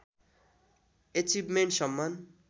achievement Samman